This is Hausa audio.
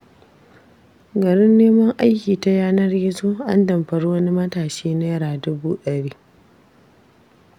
Garin neman aiki ta yanar gizo, an damfari wani matashi Naira dubu ɗari.